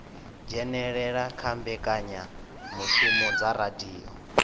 dzhenelela kha mbekanyamushumo dza radio